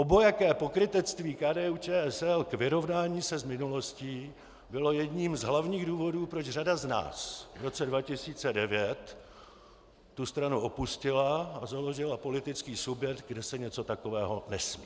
Obojaké pokrytectví KDU-ČSL k vyrovnání se s minulostí bylo jedním z hlavních důvodů, proč řada z nás v roce 2009 tu stranu opustila a založila politický subjekt, kde se něco takového nesmí.